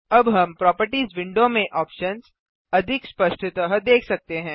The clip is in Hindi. अब हम प्रोपर्टिज विंडो में ऑप्शन्स अधिक स्पष्टतः देख सकते हैं